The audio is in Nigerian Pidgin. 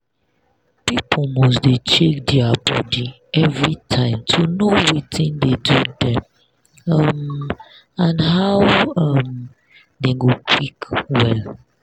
people must dey check dia body everytime to know watin dey do dem um and how um dem go quick well.